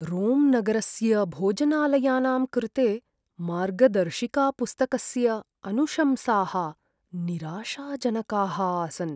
रोम्नगरस्य भोजनालयानां कृते मार्गदर्शिकापुस्तकस्य अनुशंसाः निराशाजनकाः आसन्।